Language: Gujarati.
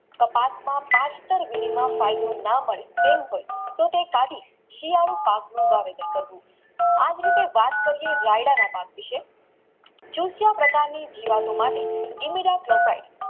કપાસમાં તો તે કઢી શિયાળુ પાક નું વાવેતર કરવું આજ રીતે વાતકરીયે રાયડાના પક વિશે પ્રકારની જીવતો માટે